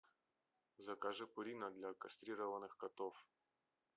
закажи пурина для кастрированных котов